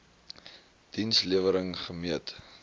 diens lewering gemeet